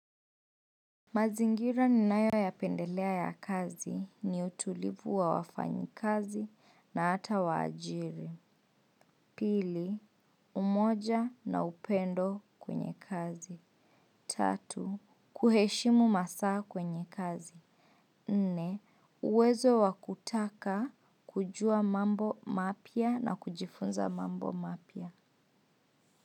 Mazingira ni nayo ya pendelea ya kazi ni utulivu wa wafanyi kazi na hata wa ajiri. Pili, umoja na upendo kwenye kazi. Tatu, kuheshimu masaa kwenye kazi. Nne, uwezo wakutaka kujua mambo mapya na kujifunza mambo mapya.